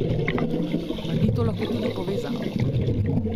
Mar ni to lahko tudi povezano?